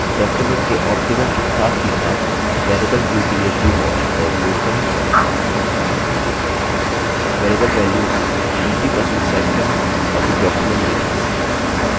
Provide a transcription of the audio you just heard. document के optimal के साथ ही साथ variable view के लिए zoom option का उपयोग करें variable value 50% set करें और फिर document देखें